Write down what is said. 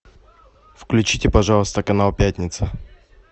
включите пожалуйста канал пятница